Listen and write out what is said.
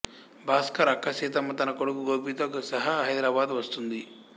భాస్కర్ అక్క సీతమ్మ తన కొడుకు గోపితో సహా హైదరాబాద్ వస్తుంది